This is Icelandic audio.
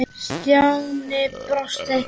Stjáni brosti.